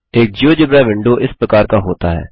एक GeoGebra window इस प्रकार का होता है